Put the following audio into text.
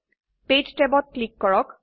page ট্যাবত click কৰক